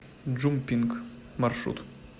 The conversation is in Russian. джумпинк маршрут